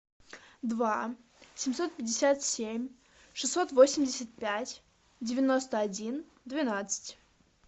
два семьсот пятьдесят семь шестьсот восемьдесят пять девяносто один двенадцать